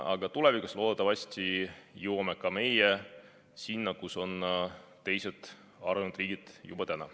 Aga tulevikus loodetavasti jõuame ka meie sinna, kus on teised arenenud riigid juba täna.